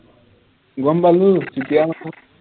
গম পালো মাথা